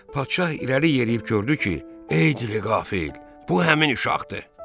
Padşah irəli yeriyib gördü ki, ey dili qafil, bu həmin uşaqdır.